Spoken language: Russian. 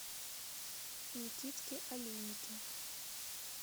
никитке олейнике